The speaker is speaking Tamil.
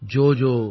ஜோஜோ